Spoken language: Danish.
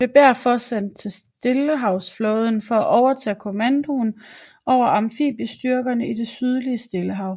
Han blev derpå sendt til stillehavetsflåden for at overtage kommandoen over amfibiestyrkerne i det sydlige stillehav